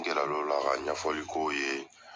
N gɛrɛl'ola ka ɲɛfɔli k'o ye